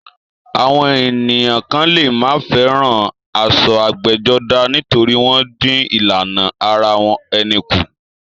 Àwọn ènìyàn kan lè má fẹ́ràn aṣọ ẹgbẹ́jọdá nítorí wọ́n dín ìlànà ara ẹni kù.